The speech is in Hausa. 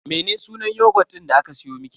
Mene sunan yogut din da aka siyo miki?